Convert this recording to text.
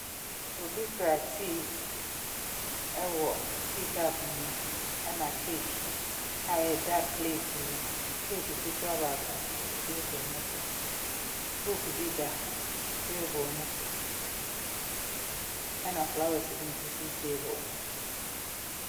Obi kura tea wɔ tea cup mu na cake a ɛda pleet mu. Cake ketewa baako nso si table no so. Book bi da table no so. Ɛna flowers bi nso si table no so.